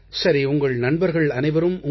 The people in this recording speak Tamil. சரி உங்கள் நண்பர்கள் அனைவரும் உங்கள்